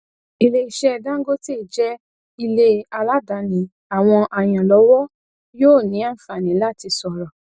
ilé iṣẹ dangote jẹ ilé aládàáni àwọn ayanlọwọ yóò ní àǹfààní láti sọrọ